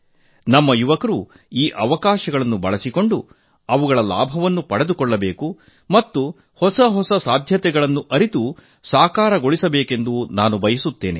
ನಮ್ಮ ಯುವಕರು ಈ ಅವಕಾಶ ಜೊತೆ ಸೇರಬೇಕು ಮತ್ತು ಅವುಗಳನ್ನು ಬಳಸಿಕೊಂಡು ಲಾಭ ಪಡೆದುಕೊಳ್ಳಬೇಕು ಮತ್ತು ಹೊಸ ಸಾಧ್ಯತೆಗಳನ್ನು ಅರಿತು ಸಾಕಾರಗೊಳಿಸಿಕೊಳ್ಳ ಬೇಕೆಂದು ನಾನು ಬಯಸುತ್ತೇನೆ